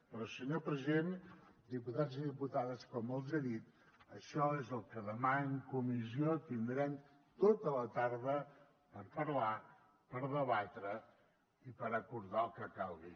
però senyor president diputats i diputades com els he dit això és el que demà en comissió tindrem tota la tarda per parlar per debatre i per acordar el que calgui